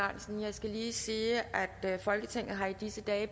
skal lige sige at folketinget i disse dage